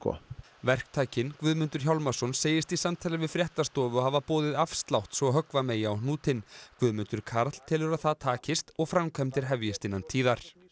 verktakinn Guðmundur Hjálmarsson segist í samtali við fréttastofu hafa boðið afslátt svo höggva megi á hnútinn Guðmundur Karl telur að það takist og framkvæmdir hefjist innan tíðar